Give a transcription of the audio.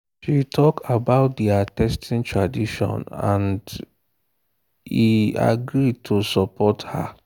she talk about their their fasting tradition and e agree to support her.